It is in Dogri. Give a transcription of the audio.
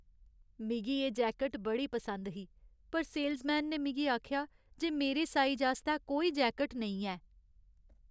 मिगी एह् जैकट बड़ी पसंद ही पर सेलसमैन ने मिगी आखेआ जे मेरे साइज आस्तै कोई जैकट नेईं है।